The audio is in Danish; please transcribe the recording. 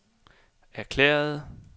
erklærede